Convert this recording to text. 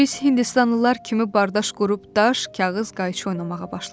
Biz Hindistanlılar kimi bardaş qurub daş, kağız, qayçı oynamağa başladıq.